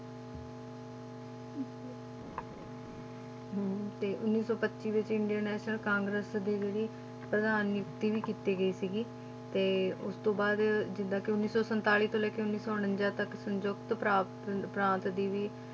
ਹਮ ਤੇ ਉੱਨੀ ਸੌ ਪੱਚੀ ਵਿੱਚ ਇੰਡੀਅਨ national ਕਾਂਗਰਸ ਦੀ ਜਿਹੜੀ ਪ੍ਰਧਾਨ ਨੀਤੀ ਵੀ ਕੀਤੀ ਗਈ ਸੀਗੀ, ਤੇ ਉਸ ਤੋਂ ਬਾਅਦ ਜਿੱਦਾਂ ਕਿ ਉੱਨੀ ਸੌ ਸੰਤਾਲੀ ਤੋਂ ਲੈ ਕੇ ਉੱਨੀ ਸੌ ਉਣੰਜਾ ਤੱਕ ਸੰਯੁਕਤ ਪ੍ਰਾਪਤ ਪ੍ਰਾਂਤ ਦੀ ਵੀ,